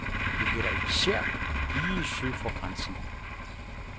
Det gælder især lige syd for grænsen.